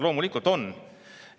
Loomulikult on!